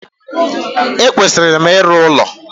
E kwesịrị m ịrụ ụlọ